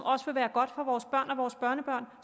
også vil være godt for vores børn og vores børnebørn